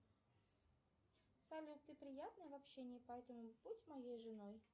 салют ты приятная в общении поэтому будь моей женой